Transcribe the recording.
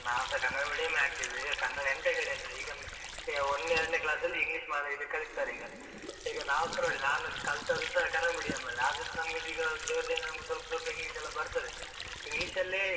ನಾವುಸಾ Kannada medium ಮೆ ಹಾಕಿದ್ದು, ಈಗ ಕನ್ನಡ ಎಂತಕ್ಕೆ ಹೇಳಿ ಅಂದ್ರೆ ಈಗೊಮ್ಮೆ ಅಹ್ ಈಗ ಒಂದೆರಡನೆ class ಲ್ಲಿ English ಮಾತಾಡ್ಲಿಕ್ಕೆ ಕಳಿಸ್ತಾರೆ ಈಗ. ಈಗ ನಾವುಸಾ ನೋಡಿ, ನಾನು ಅಹ್ ಕಲ್ತತದ್ದುಸಾ ಕನ್ನಡ medium ಅಲ್ಲೇ ಅದ್ರುಸಾ ನಮ್ಗೆ ಒಂದೀಗ ದೇವ್ರ ದಯೆಯಿಂದ ನಮಗೆ ಸ್ವಲ್ಪ ಸ್ವಲ್ಪ English ಲ್ಲಾ ಬರ್ತದೆ, English ಲ್ಲೇ.